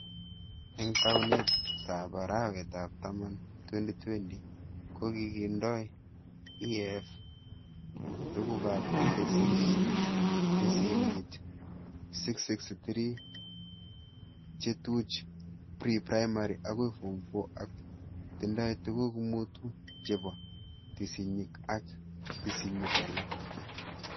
Eng taunetab arawet ab taman 2020,kokitindoi KEF tugukab tesisyit 663,chetuch pre-primary akoi form 4 ak tindoi tuguk mutu chebo tesisyit ak tesisyik alak